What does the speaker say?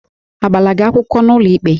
Agbala gị akwụkwọ n'ụlọikpe?